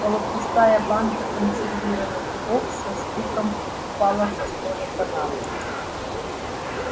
полупустая банка консервированных грибов со стуком упала со столика на пол